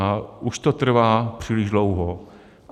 A už to trvá příliš dlouho.